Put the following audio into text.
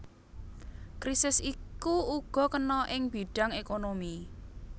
Krisis iku uga kena ing bidhang ékonomi